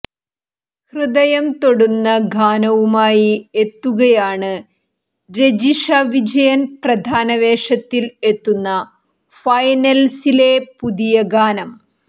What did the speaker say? ഹൃദയം തൊടുന്ന ഗാനവുമായി എത്തുകയാണ് രജിഷ വിജയൻ പ്രധാനവേഷത്തിൽ എത്തുന്ന ഫൈനൽസിലെ പുതിയ ഗാനം